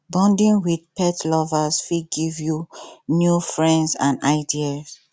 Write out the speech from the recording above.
bonding with pet lovers fit give you new friends and ideas